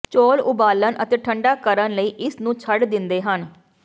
ਚੌਲ ਉਬਾਲਣ ਅਤੇ ਠੰਢਾ ਕਰਨ ਲਈ ਇਸ ਨੂੰ ਛੱਡ ਦਿੰਦੇ ਹਨ